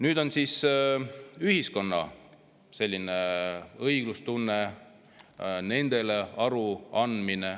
ühiskonna õiglustunnet, ühiskonnale tuleb aru anda.